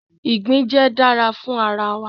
igbin jẹ dara fun ara